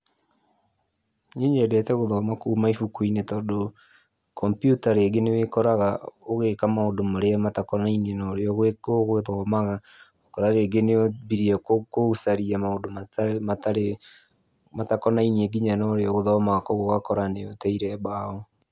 Niĩ nyendete gũthoma kuuma ibuku-inĩ, tondũ kompiuta rĩngĩ nĩ ũkoraga ũgĩka maũndũ marĩa matakonainie na ũrĩa ũgũthomaga. Ũkoraga rĩngĩ nĩ wambirie gũcaria maũndũ matarĩ, matakonainie na ũrĩa ũgũthomaga. Koguo ũgakora nĩ ũteire mbaũ.